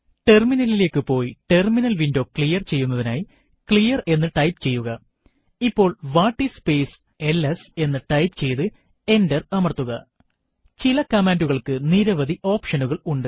ടെർമിനലിലേക്ക് പോയി terminal window clear ചെയ്യുന്നതിനായി ക്ലിയർ എന്ന് ടൈപ്പ് ചെയ്യുക ഇപ്പോൾ വാട്ടിസ് സ്പേസ് എൽഎസ് എന്ന് ടൈപ്പ് ചെയ്തു എന്റർ അമർത്തുക ചില കമാൻഡുകൾക്ക് നിരവധി ഓപ്ഷനുകൾ ഉണ്ട്